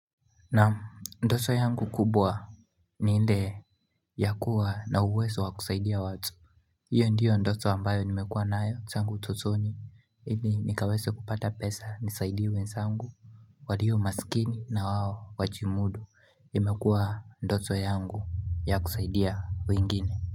Naam, ndoto yangu kubwa ni ile ya kuwa na uwezo wa kusaidia watu hiyo ndiyo ndoto ambayo nimekuwa nayo tangu utotoni ili nikaweze kupata pesa nisaidie wenzangu walio masikini na wao wajimudu imekuwa ndoto yangu ya kusaidia wengine.